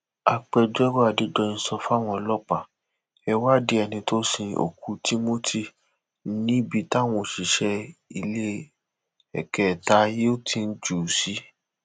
agbẹjọrò adédọyìn sọ fáwọn ọlọẹ wádìí ẹni tó sin òkú timothy níbi táwọn òṣìṣẹ iléekétà hilton jù ú sí